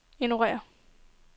ignorér